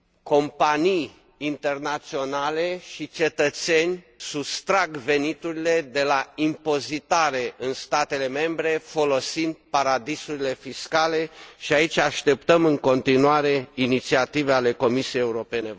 companii internaționale și cetățeni sustrag veniturile de la impozitare în statele membre, folosind paradisurile fiscale și aici așteptăm, în continuare, inițiative ale Comisiei Europene.